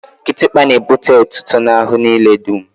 Kịtịkpa n'ebute etuto n'ahụ niile dum